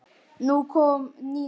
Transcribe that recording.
Nú kom Nína.